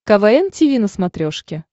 квн тиви на смотрешке